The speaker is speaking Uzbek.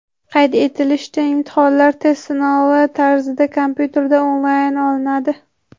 Qayd etilishicha, imtihonlar test sinovi tarzida kompyuterda onlayn olinadi.